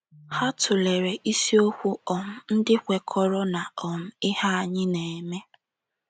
Ha tụlere isiokwu um ndị kwekọrọ na um ihe anyị na-eme